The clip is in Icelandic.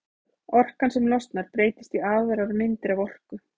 Orkan sem losnar breytist í aðrar myndir af orku.